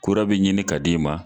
Kura bɛ ɲini ka d'i ma.